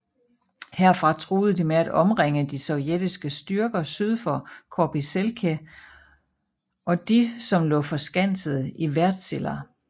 Herfra truede de med at omringe de sovjetiske styrker syd for Korpiselkä og de som lå forskanset i Värtsilä